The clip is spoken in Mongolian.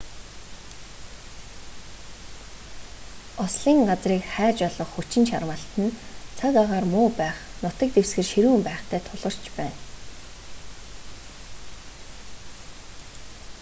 ослын газрыг хайж олох хүчин чармайлт нь цаг агаар муу байх нутаг дэвсгэр ширүүн байхтай тулгарч байна